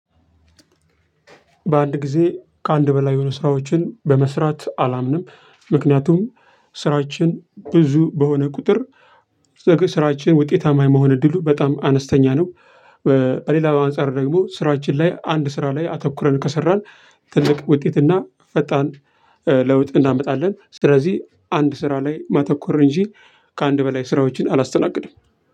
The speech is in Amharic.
በአንድ ጊዜ ከአንድ በላይ የሆኑ ስራዎችን በመስራት አላምንም ምክንያቱም ስራችን ብዙ በሆነ ቁጥር ስራችን ውጤታማ የመሆን እድሉ በጣም አነስተኛ ነው። እ በሌላ አንፃር ደግሞ ስራችን ላይ አንድ ስራ ላይ አተኩረን ከሰራን ትልቅ ውጤትና ፈጣን እ ለውጥ እናመጣለን። ስለዚህ አንድ ስራ ላይ ማተኮር እንጂ ከአንድ በላይ ስራዎችን አላስተናግድም።